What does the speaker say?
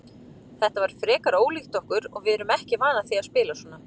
Þetta var frekar ólíkt okkur og við erum ekki vanar því að spila svona.